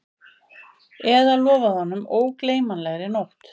Eða lofað honum ógleymanlegri nótt